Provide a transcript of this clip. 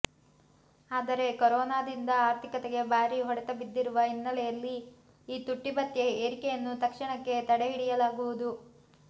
ಆದರೆ ಕೊರೋನಾದಿಂದ ಆರ್ಥಿಕತೆಗೆ ಭಾರೀ ಹೊಡೆತ ಬಿದ್ದಿರುವ ಹಿನ್ನೆಲೆಯಲ್ಲಿ ಈ ತುಟ್ಟಿಭತ್ಯೆ ಏರಿಕೆಯನ್ನು ತಕ್ಷಣಕ್ಕೆ ತಡೆಹಿಡಿಯಲಾಗುವುದು